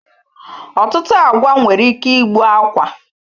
Ọtụtụ agwa nwere ike igbu akwa.